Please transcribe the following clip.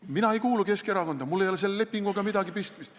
Mina ei kuulu Keskerakonda, mul ei ole selle lepinguga midagi pistmist.